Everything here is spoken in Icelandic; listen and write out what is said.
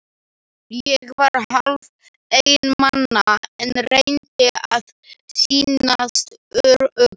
Ég var hálf einmana, en reyndi að sýnast ör- ugg.